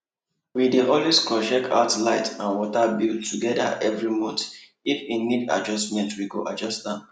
we dey always cross check out light and water bill together every monthif e need adjustment we go adjust am